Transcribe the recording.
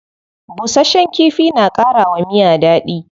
Bushasshen kifi na kara wa miya dadi.